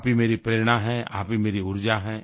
आप ही मेरी प्रेरणा है आप ही मेरी ऊर्जा है